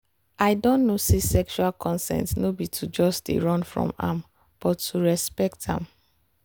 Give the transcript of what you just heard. i don know say sexual consent no be to just they run from am but to respect am.